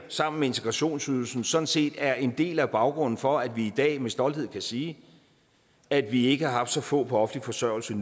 sammen med integrationsydelsen sådan set er en del af baggrunden for at vi i dag med stolthed kan sige at vi ikke har haft så få på offentlig forsørgelse